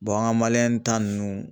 an ka ta nunnu